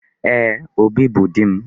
Ee, Obi bụ di m